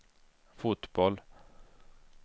fotboll